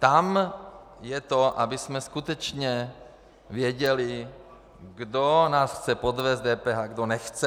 Tam je to, abychom skutečně věděli, kdo nás chce podvést s DPH, kdo nechce.